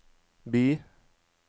by